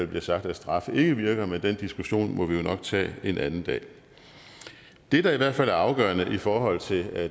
bliver sagt at straf ikke virker men den diskussion må vi jo nok tage en anden dag det der i hvert fald er afgørende i forhold til